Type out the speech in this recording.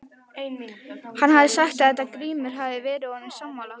Hann hafði sagt þetta og Grímur hafði verið honum sammála.